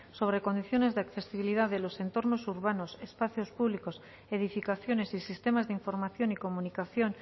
sobre condiciones de accesibilidad de los entornos urbanos espacios públicos edificaciones y sistemas de información y comunicación